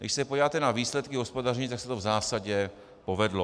Když se podíváte na výsledky hospodaření, tak se to v zásadě povedlo.